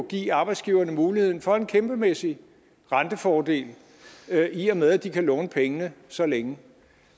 give arbejdsgiverne muligheden for en kæmpemæssig rentefordel i og med at de kan låne pengene så længe